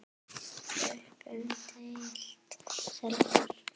Upp um deild:, Selfoss